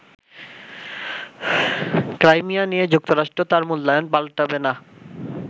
Crimea নিয়ে যুক্তরাষ্ট্র তার মূল্যায়ন পাল্টাবে না।